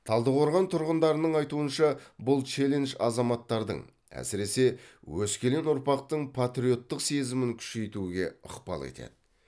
талдықорған тұрғындарының айтуынша бұл челлендж азаматтардың әсіресе өскелең ұрпақтың патриоттық сезімін күшейтуге ықпал етеді